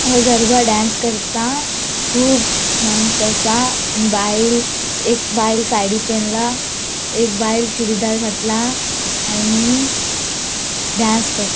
हांगा गरबा डेन्स करता कुब मानस असा आणि बायल से एक बायल साड़ी पेनला एक बायल चूड़ीदार घातला आणि डांस कर --